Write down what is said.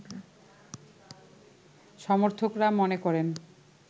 সমর্থকরা মনে করেন